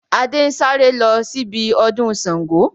Adé ń sáré lọ síbi ọdún Sángo